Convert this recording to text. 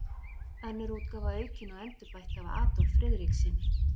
Önnur útgáfa aukin og endurbætt af Adolf Friðrikssyni.